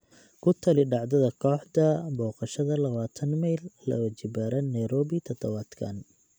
ku tali dhacdada kooxda boqoshaada labaatan mayl laba jibaaran nairobi todobaadkan